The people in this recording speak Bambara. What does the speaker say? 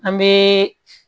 An bɛ